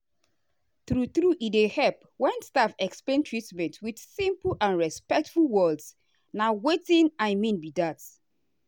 true true e dey help when staff explain treatment with simple and respectful words na watin i mean be that.